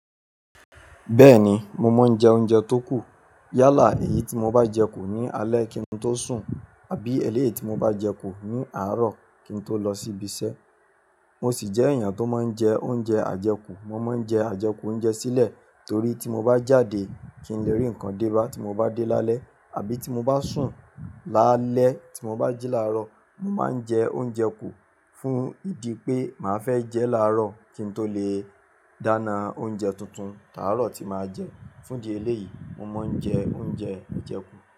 Bẹ́ẹ̀ni, mo maa ń jẹ oúnjẹ tó kù. Yálà èyí tí mo bá jẹ kù ní alẹ́ kí n tó sùn àbí ẹlẹ́yìí tí mo bá jẹ kù ní àárọ̀ kí n tó lọ sí ibi iṣẹ́. Mo sì jẹ́ èèyàn tó máa ń jẹ oúnjẹ àjẹkù. Mo máa ń jẹ àjẹkù oúnjẹ sílẹ̀ torí tí mo bá jáde kí n lè rí ǹkan dé bá tí mo bá dé lálẹ́ àbí tí mo bá sùn lálẹ́ tí mo bá jí láàárọ̀, mo máa ń jẹ oúnjẹ kù fún ìdí pé màá fẹ́ jẹ láàárọ̀ kí n tó lè dáná oúnjẹ tuntun táàárọ̀ tí màá jẹ. Fún di ẹlẹ́yìí, mo máa ń jẹ oúnjẹ àjẹkù.